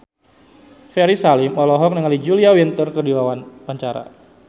Ferry Salim olohok ningali Julia Winter keur diwawancara